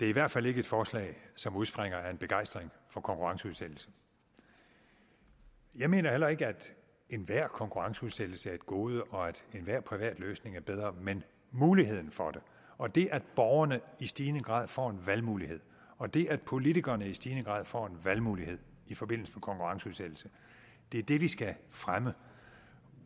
det er i hvert fald ikke et forslag som udspringer af en begejstring for konkurrenceudsættelse jeg mener heller ikke at enhver konkurrenceudsættelse er et gode og at enhver privat løsning er bedre men muligheden for det og det at borgerne i stigende grad får en valgmulighed og det at politikerne i stigende grad får en valgmulighed i forbindelse med konkurrenceudsættelse er det vi skal fremme